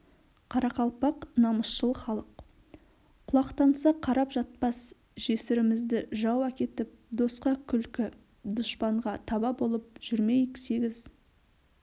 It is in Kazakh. қарақалпақ намысшыл халық құлақтанса қарап жатпас жесірімізді жау әкетіп досқа күлкі дұшпанға таба болып жүрмейік сегіз